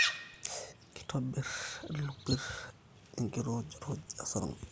Kitobir ilopir enkirujuruj esarngab